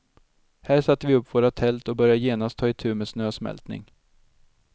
Här satte vi upp våra tält och började genast ta itu med snösmältning.